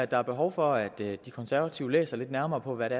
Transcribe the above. der er behov for at de konservative læser lidt nærmere på hvad det